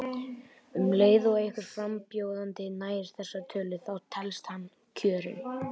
Um leið og einhver frambjóðandi nær þessari tölu þá telst hann kjörinn.